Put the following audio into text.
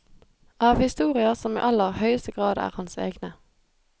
Av historier som i aller høyeste grad er hans egne.